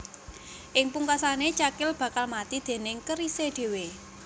Ing pungkasané cakil bakal mati déning kerisé dhéwé